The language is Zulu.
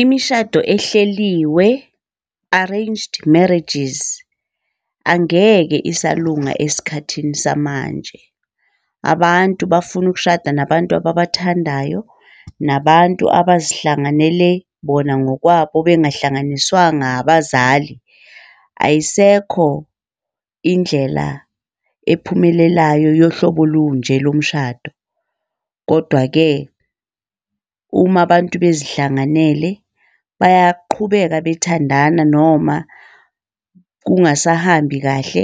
Imishado ehleliwe, arranged marriages, angeke esalunga esikhathini samanje. Abantu bafuna ukushada, nabantu ababathandayo, nabantu abazihlanganele bona ngokwabo bengahlanganiswanga abazali. Ayisekho indlela ephumelelayo yohlobo olunje lomshado. Kodwa-ke uma abantu bezihlanganele bayaqhubeka bethandana noma kungasahambi kahle